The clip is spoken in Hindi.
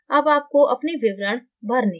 अब आपको अपने विवरण भरने हैं